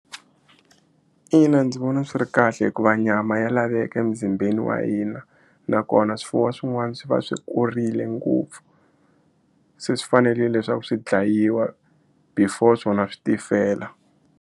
Ina ndzi vona swi ri kahle hikuva nyama ya laveka e muzimbeni wa hina nakona swifuwo swin'wana swi va swi kurile ngopfu se swi fanerile leswaku swi dlayiwa before swona swi tifela.